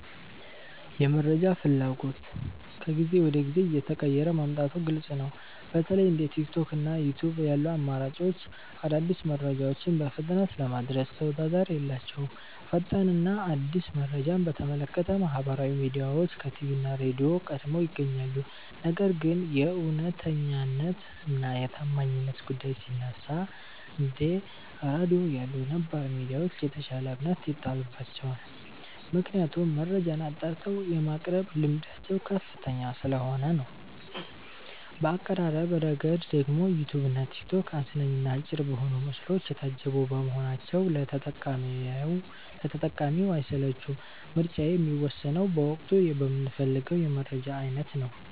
የመረጃ ፍላጎት ከጊዜ ወደ ጊዜ እየተቀየረ መምጣቱ ግልጽ ነው። በተለይ እንደ ቲክቶክ እና ዩትዩብ ያሉ አማራጮች አዳዲስ መረጃዎችን በፍጥነት ለማድረስ ተወዳዳሪ የላቸውም። ፈጣን እና አዲስ መረጃን በተመለከተ ማህበራዊ ሚዲያዎች ከቲቪ እና ራድዮ ቀድመው ይገኛሉ። ነገር ግን የእውነተኛነት እና የታማኝነት ጉዳይ ሲነሳ፣ እንደ ራድዮ ያሉ ነባር ሚዲያዎች የተሻለ እምነት ይጣልባቸዋል። ምክንያቱም መረጃን አጣርተው የማቅረብ ልምዳቸው ከፍተኛ ስለሆነ ነው። በአቀራረብ ረገድ ደግሞ ዩትዩብ እና ቲክቶክ አዝናኝ እና አጭር በሆኑ ምስሎች የታጀቡ በመሆናቸው ለተጠቃሚው አይሰለቹም። ምርጫዬ የሚወሰነው በወቅቱ በምፈልገው የመረጃ አይነት ነው።